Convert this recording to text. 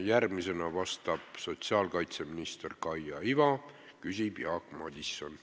Järgmisena vastab sotsiaalkaitseminister Kaia Iva ja küsib Jaak Madison.